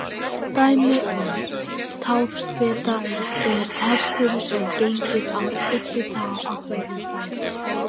Dæmi um táfeta er hesturinn sem gengur á einni tá á hverjum fæti.